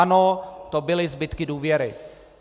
Ano, to byly zbytky důvěry.